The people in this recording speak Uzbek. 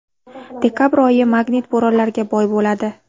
Dekabr oyi magnit bo‘ronlariga boy bo‘ladi.